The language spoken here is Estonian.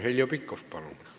Heljo Pikhof, palun!